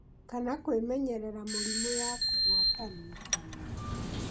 kana kwĩmenyerera mũrimũ ya kũgwatanio (ta rwagĩ)